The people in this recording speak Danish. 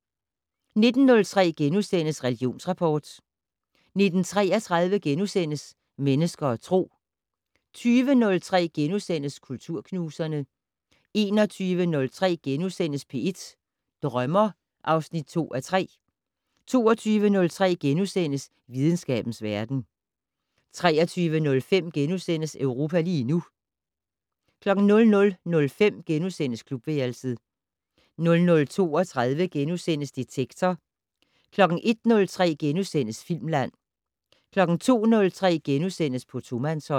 19:03: Religionsrapport * 19:33: Mennesker og Tro * 20:03: Kulturknuserne * 21:03: P1 Drømmer (2:3)* 22:03: Videnskabens verden * 23:05: Europa lige nu * 00:05: Klubværelset * 00:32: Detektor * 01:03: Filmland * 02:03: På tomandshånd *